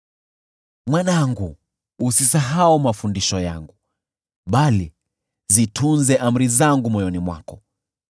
Mwanangu, usisahau mafundisho yangu, bali zitunze amri zangu moyoni mwako,